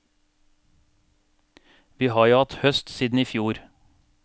Vi har jo hatt høst siden i fjor.